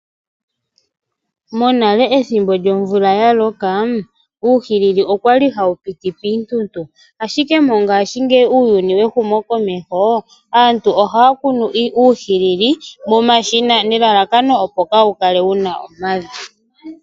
Monale ethimbo lyomvula yaloka uuhilili okwali hawu piti piintuntu. Ashike mongashingeyi uuyuni wehumokomeho aantu ohaya kunu uuhilili momashina nelalakano opo kaa wu kale wuna omavi.